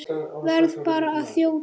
Verð bara að þjóta!